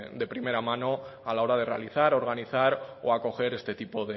de primera mano a la hora de realizar organizar o acoger este tipo